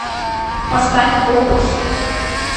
поставь опус